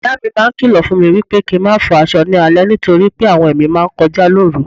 Ìyámi máa ń kìlọ̀ fúnmi wípé kín n máa fọ aṣọ ni alẹ́ nítorí pé àwọn ẹ̀mí máa ńkọjá lóru.